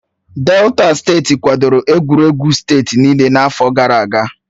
Delta steeti kwadoro egwuregwu steeti niile n'afọ gara aga